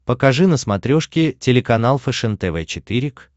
покажи на смотрешке телеканал фэшен тв четыре к